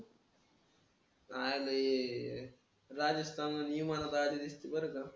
आणि बरं का.